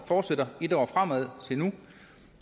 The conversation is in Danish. fortsætter i et år frem